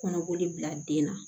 Kɔnɔboli bila den na